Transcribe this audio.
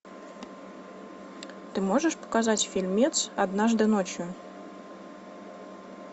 ты можешь показать фильмец однажды ночью